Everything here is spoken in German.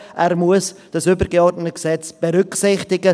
Er muss dieses übergeordnete Gesetz berücksichtigen.